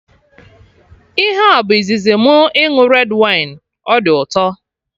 Ihe a bụ izizi mụ ịṅụ red wine, ọ dị ụtọ